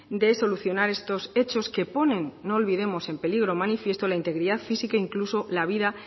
de solucionar estos hechos que ponen no olvidemos en peligro manifiesto la integridad física e incluso la vida